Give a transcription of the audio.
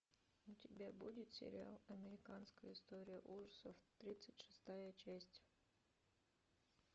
у тебя будет сериал американская история ужасов тридцать шестая часть